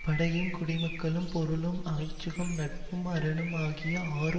படையும் குடிமக்களும் பொருளும் அமைச்சும் நட்பும் அரணும்ஆகிய ஆறு